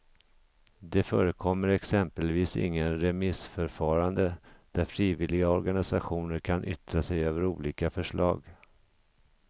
Det förekommer exempelvis inget remissförfarande där frivilliga organisationer kan yttra sig över olika förslag.